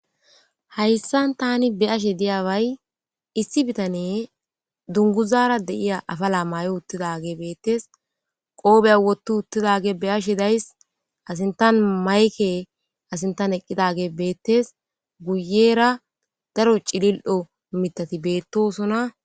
Hayssan tani beyashe diyaway issi bitane dunguzaara de7iya afala may7o uttidage beettes qoobeya wottu uttidage be ashe days asintan mayke asintan eqqidage beettes guyera daro cilil7o mitati beettosona